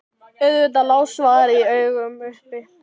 Auðvitað lá svarið í augum uppi.